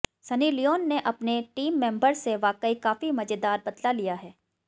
Sunny Leone ने अपने team member से वाकई काफी मजेदार बदला लिया है